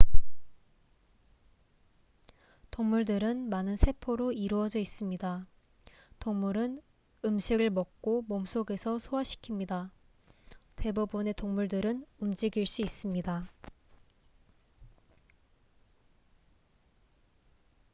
동물들은 많은 세포로 이루어져 있습니다 동물은 음식을 먹고 몸 속에서 소화시킵니다 대부분의 동물들은 움직일 수 있습니다